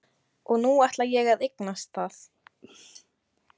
Og nú ætla ég að eignast það.